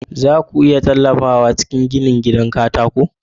Za ku iya tallafawa a cikin ginin gidan katako na mu?